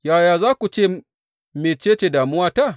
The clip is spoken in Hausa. Yaya za ku ce, Mece ce damuwata?’